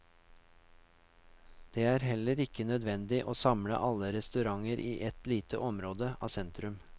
Det er heller ikke nødvendig å samle alle restauranter i ett lite område av sentrum.